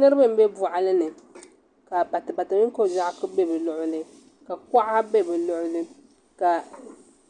Niraba n bɛ boɣali ni ka batibati mini ko biɛɣu ku bɛ bi luɣuli ka kuɣa bɛ bi luɣuli ka